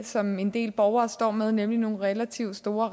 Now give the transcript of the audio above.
som en del borgere står med nemlig nogle relativt store